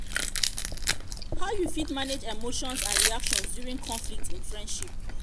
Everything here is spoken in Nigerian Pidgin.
how you fit manage emotions and reactions during conflict in friendship?